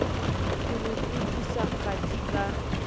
ke ho tlodiswa kgathi ka